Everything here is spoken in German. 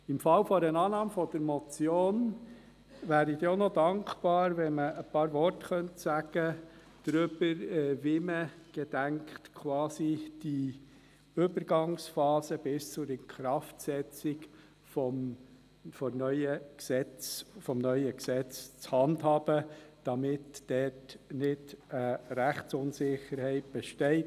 Im Falle einer Annahme der Motion wäre ich dankbar, wenn man auch noch ein paar Worte dazu sagen könnte, wie man die Übergangsphase bis zur Inkraftsetzung des neuen Gesetzes zu handhaben gedenkt, damit dort nicht eine Rechtsunsicherheit besteht.